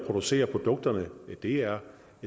producere produkterne er